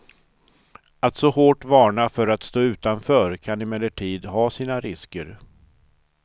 Att så hårt varna för att stå utanför kan emellertid ha sina risker.